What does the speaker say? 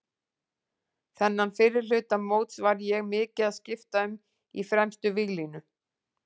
Þennan fyrri hluta móts var ég mikið að skipta um í fremstu víglínu.